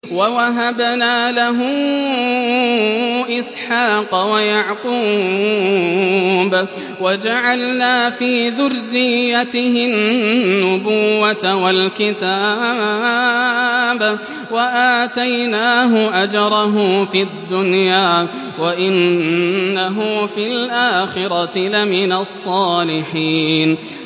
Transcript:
وَوَهَبْنَا لَهُ إِسْحَاقَ وَيَعْقُوبَ وَجَعَلْنَا فِي ذُرِّيَّتِهِ النُّبُوَّةَ وَالْكِتَابَ وَآتَيْنَاهُ أَجْرَهُ فِي الدُّنْيَا ۖ وَإِنَّهُ فِي الْآخِرَةِ لَمِنَ الصَّالِحِينَ